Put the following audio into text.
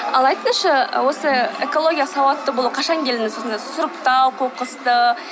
ал айтыңызшы осы экологиялық сауатты болу қашан келдіңіз осындай сұрыптау қоқысты